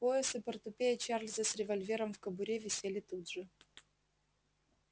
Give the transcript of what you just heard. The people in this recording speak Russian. пояс и портупея чарлза с револьвером в кобуре висели тут же